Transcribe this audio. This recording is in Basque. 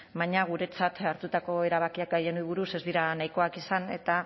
baina guretzat hartutako erabakiak haien aburuz ez dira nahikoak izan eta